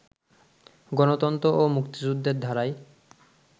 গণতন্ত্র ও মুক্তিযুদ্ধের ধারায়